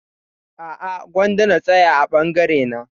A'a gwanda na tsaya a bangare na